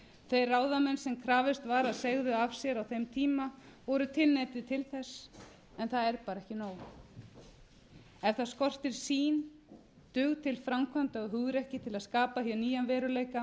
þeir ráðamenn sem krafist var að segðu af sér á þeim tíma voru tilneyddir til þess en það er bara ekki nóg það skortir sýn dug til framkvæmda og hugrekki til að skapa hér nýjan veruleika